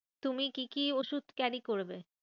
তুমি কি কি ওষুধ carry করবে?